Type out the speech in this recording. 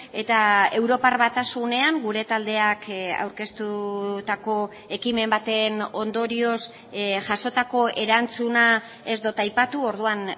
eta europar batasunean gure taldeak aurkeztutako ekimen baten ondorioz jasotako erantzuna ez dut aipatu orduan